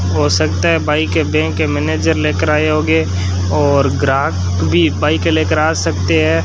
हो सकता है बाईकें बैंक के मैनेजर लेकर आए होंगे और ग्राहक भी बाईकें लेकर आ सकते है।